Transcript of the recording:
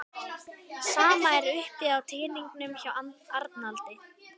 Sama er uppi á teningnum hjá Arnaldi